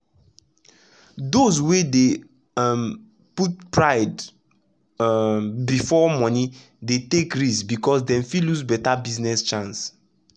those wey dey um put pride um before monie dey take risk because dem fit lose better business chance